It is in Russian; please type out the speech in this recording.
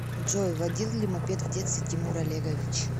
джой водил ли мопед в детстве тимур олегович